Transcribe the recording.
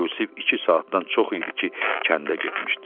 Yusif iki saatdan çox idi ki, kəndə getmişdi.